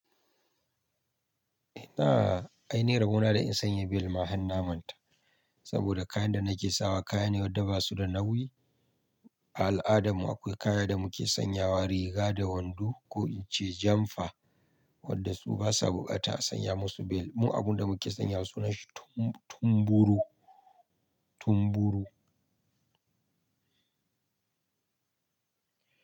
Ina aini rabona da in sanya bel ma ai harna man ta saboda kayan da nake sawa kaya ne wadda basu da nauyi. A al'adarmu akwai kayan da muke sanyawa riga da wando ko in ce janfa wadda su basa buƙata sanya musu bel. Mu abun da muke sanya sunan shi tum-tumburu tumburu.